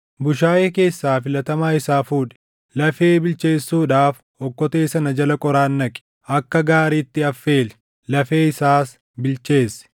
bushaayee keessaa filatamaa isaa fuudhi. Lafee bilcheessuudhaaf okkotee sana jala qoraan naqi; akka gaariitti affeeli; lafee isaas bilcheessi.